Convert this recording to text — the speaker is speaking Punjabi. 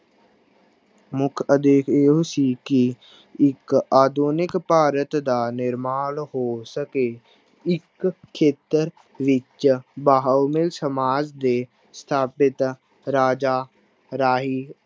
ਮੁੱਖ ਉਦੇਸ਼ ਇਹੋ ਸੀ ਕਿ ਇੱਕ ਆਧੁਨਿਕ ਭਾਰਤ ਦਾ ਨਿਰਮਾਣ ਹੋ ਸਕੇ, ਇੱਕ ਖੇਤਰ ਵਿੱਚ ਸਮਾਜ ਦੇ ਸਥਾਪਿਤ ਰਾਜਾ ਰਾਹੀਂ